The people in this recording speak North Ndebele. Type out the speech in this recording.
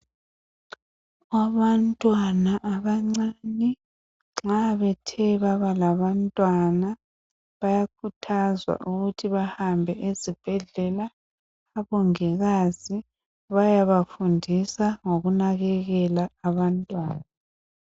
Abantwana abancane nxa bethe baba labantwana bayakhuthazwa ukuthi bahambe ezibhedlela, omongikazi bayabafundisa ngokunakekela abantwana.